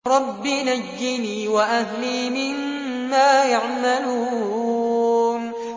رَبِّ نَجِّنِي وَأَهْلِي مِمَّا يَعْمَلُونَ